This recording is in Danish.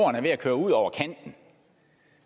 er ved at køre ud over kanten